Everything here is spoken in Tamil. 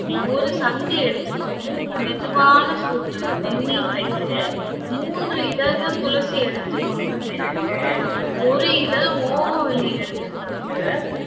ஒரு சங்கு எடுத்துக்கொண்டு மெதுவான சூட்டில் வெந்நீர் வைத்து மூன்று இதழ்கள் துளசி எடுத்துக்கொண்ட பிறகு ஒரு இதழ் ஓமவல்லி எடுத்துக்கொண்டு